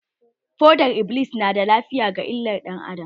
Fodar-iblis na da illa ga lafiyar ɗan adam.